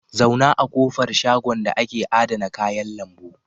Zauna a ƙofar shagon da ake adana kayan lambu.